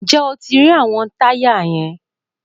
Ǹjẹ́ o ti rí àwọn táyà yẹn?